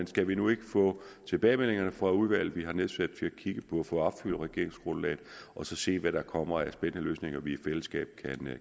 skal vi nu ikke få tilbagemeldingerne fra udvalget vi har nedsat til at kigge på at få opfyldt regeringsgrundlaget og så se hvad der kommer af spændende løsninger vi i fællesskab